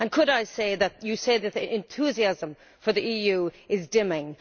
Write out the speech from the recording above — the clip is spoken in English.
And could I add that you say that the enthusiasm for the EU is dimming.